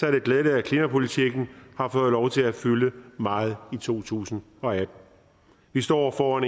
er det glædeligt at klimapolitikken har fået lov til at fylde meget i to tusind og atten vi står over for en